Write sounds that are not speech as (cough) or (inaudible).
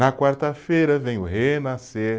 (sings) Na quarta-feira venho renascer.